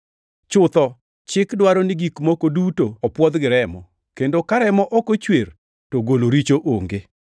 Chutho, chik dwaro ni gik moko duto opwodh gi remo, kendo ka remo ok ochwer to golo richo onge.